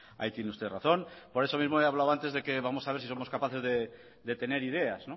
ahí tiene usted razón por eso mismo he hablado antes vamos a ver si somos capaces de tener ideas